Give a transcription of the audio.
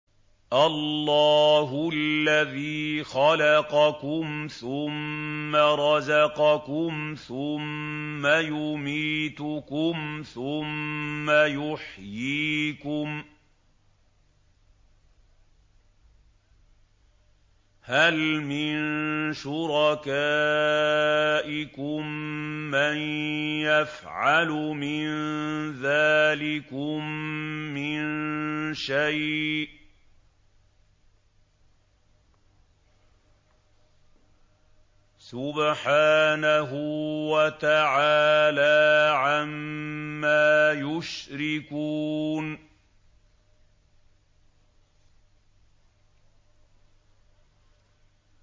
اللَّهُ الَّذِي خَلَقَكُمْ ثُمَّ رَزَقَكُمْ ثُمَّ يُمِيتُكُمْ ثُمَّ يُحْيِيكُمْ ۖ هَلْ مِن شُرَكَائِكُم مَّن يَفْعَلُ مِن ذَٰلِكُم مِّن شَيْءٍ ۚ سُبْحَانَهُ وَتَعَالَىٰ عَمَّا يُشْرِكُونَ